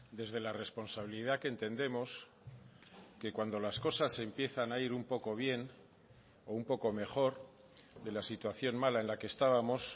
desde la responsabilidad que entendemos que cuando las cosas empiezan a ir un poco bien o un poco mejor de la situación mala en la que estábamos